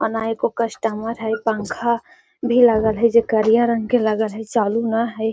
अ न एको कस्टमर है पंखा भी लागल है जे करिया रंग के लगल है चालू ना है।